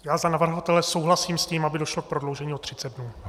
Já za navrhovatele souhlasím s tím, aby došlo k prodloužení o 30 dnů.